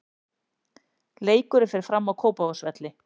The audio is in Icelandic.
Leikurinn fer fram á Kópavogsvelli.